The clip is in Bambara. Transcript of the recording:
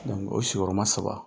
O sigiyɔrɔma saba